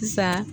Sisan